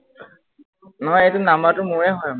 নহয় এইটো number টো মোৰেই হয় মানে।